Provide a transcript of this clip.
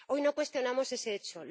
Hoy no cuestionamos ese hecho.